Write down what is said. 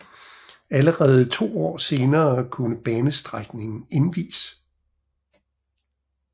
Allerede to år senere kunne banestrækningen indvies